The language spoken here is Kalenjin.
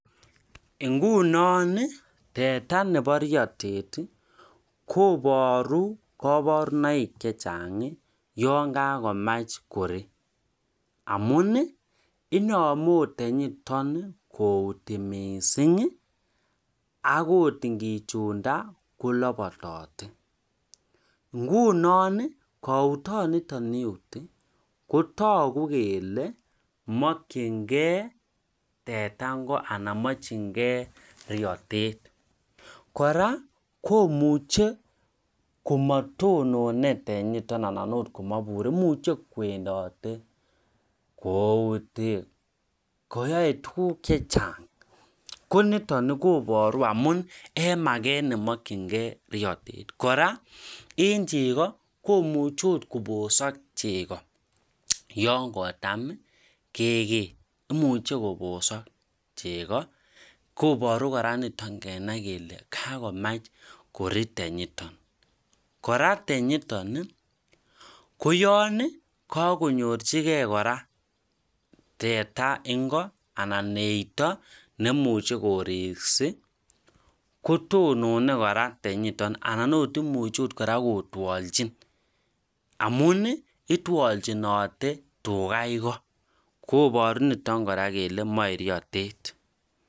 ngunon iih teta nebo iyotet iih koboru koborunoik chechang iih yaan kagomach korii, amuun iih inome oot tenyiton kouti mising agot ngichiunda kolopotote, ngunon koutot niton iyuti kotogu kole mokyingee teta ingo anan mokyingee riotet, koraa komuche komotonone tenyiton anan oot komaburi imuche kwendote kouuti, koyoe tuguuk chechang, koniton koboru amuun en mageet nemokyingee riotet , kora en chego komuche oot kobosok chego yaan kotaam kegee, imuche kobosok chego koboru kora niton kenai kele kagomach kori tenyiton, kora tenyiton iih koyoon kagonyorchigee kora tetea ingo anan eito nemuche koriksi kotonone kora tenyiton anan oot imuche kora kotwolchin amuun iih itwolchinote tuga igo, koboru kora niton kele moe riotet.